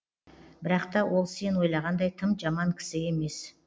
бірақ та ол сен ойлағандай тым жаман кісі емес